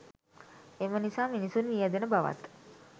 එම නිසා මිනිසුන් මියැදෙන බවත්